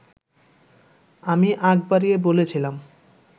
আমি আগ বাড়িয়ে বলেছিলাম